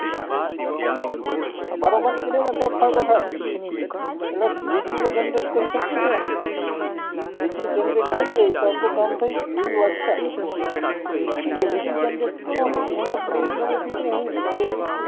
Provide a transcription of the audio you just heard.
બારોબાર નીકળે ને તો જ ફાયદો થાય, એટલે વીજળી તો generate કરી છીએ, વીજળી generate થઇ ગઈ, તો આપણું કામ થઇ ગયું એવી વાત સે, કારણ કે વીજળી generate કરો ને એમાં main benefit હું કે ભાઈ